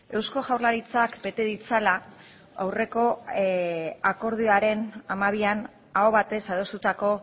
eusko jaurlaritzak bete ditzala aurreko akordioaren hamabian aho batez adostutako